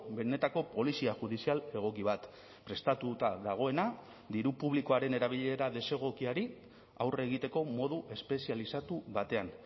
benetako polizia judizial egoki bat prestatuta dagoena diru publikoaren erabilera desegokiari aurre egiteko modu espezializatu batean